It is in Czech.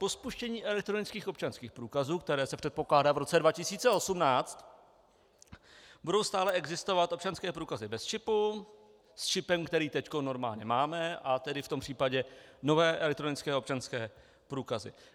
Po spuštění elektronických občanských průkazů, které se předpokládá v roce 2018, budou stále existovat občanské průkazy bez čipu, s čipem, který teď normálně máme, a tedy v tom případě nové elektronické občanské průkazy.